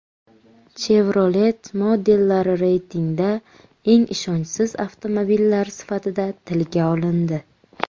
Chevrolet modellari reytingda eng ishonchsiz avtomobillar sifatida tilga olindi.